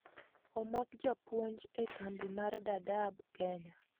Omak jopuonj e kambi mar Dadaab Kenya